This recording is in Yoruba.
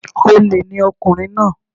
Olè ni ọkùnrin náà